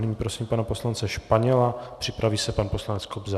Nyní prosím pana poslance Španěla, připraví se pan poslanec Kobza.